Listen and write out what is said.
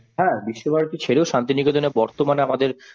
হ্যাঁ বিশ্বভারতী ছেড়ে ও শান্তিনিকেতনের বর্তমানে আমাদের